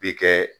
Bi kɛ